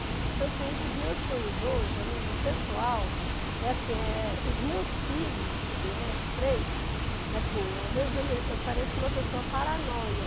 Então, assim, um dos meus sonhos hoje, a nível pessoal, é assim, é os meus filhos, né, os três, assim, às vezes eu me eu pareço uma pessoa paranoia.